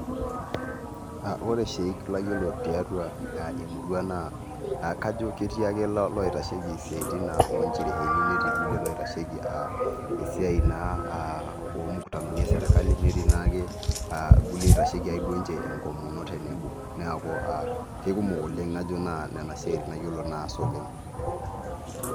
Ore shiek layiolo tiatua emurua naa kajo ketii ake loitasheki siaitin onchereeni netii irkulie oitasheki naa siaitin esirkali netii irkulie oitasheki ake duo ninche enkomono. Neeku keikumok oleng naa kajo nena siaitin nayiolo naas oleng.